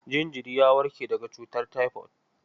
Jinjiri ya warke daga cutar taifod.